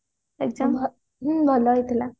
exam ହଁ ଭଲ ହେଇଥିଲା